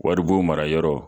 Waribon mara yɔrɔ